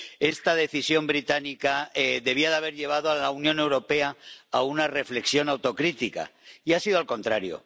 Esta decisión británica debería haber llevado a la Unión Europea a una reflexión autocrítica, y ha sido al contrario.